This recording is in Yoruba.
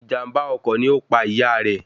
Ìjàm̀bá ọkọ̀ ni ó pa ìyá rẹ̀